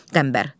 Qəmbər.